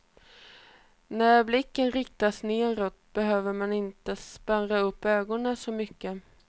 När blicken riktas neråt behöver man inte spärra upp ögonen så mycket.